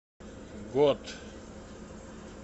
год